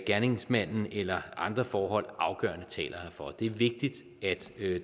gerningsmanden eller andre forhold afgørende taler herfor det er vigtigt at